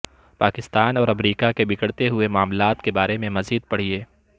پاکستان اور امریکہ کے بگڑتے ہوئے معاملات کے بارے میں مزید پڑھیے